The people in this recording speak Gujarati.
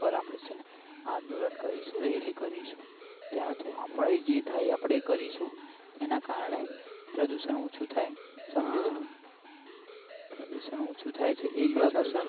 પણ આપડે છે ને આંદલોન કરીશુ રેલી કરીશુ આપણા થી જે થાય એ આપણે કરીશુ એના કારણે પ્રદુશન ઓછું થાય સમજે તું પ્રદુશન ઓછું થાય છે